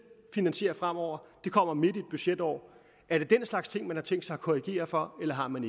finansiere fremover det kommer midt i et budgetår er det den slags ting man har tænkt sig at korrigere for eller har man